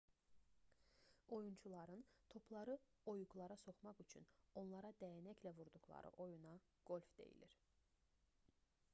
oyunçuların topları oyuqlara soxmaq üçün onlara dəyənəklə vurduqları oyuna qolf deyilir